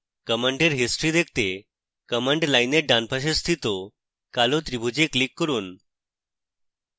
command এর history দেখতে command line এর ডান পাশে স্থিত কালো ত্রিভুজে click করুন